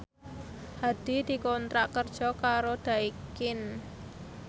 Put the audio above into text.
Hadi dikontrak kerja karo Daikin